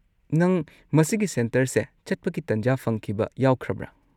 ꯅꯪ ꯃꯁꯤꯒꯤ ꯁꯦꯟꯇꯔꯁꯦ ꯆꯠꯄꯒꯤ ꯇꯟꯖꯥ ꯐꯪꯈꯤꯕ ꯌꯥꯎꯈ꯭ꯔꯕ꯭ꯔꯥ?